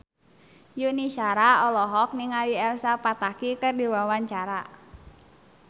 Yuni Shara olohok ningali Elsa Pataky keur diwawancara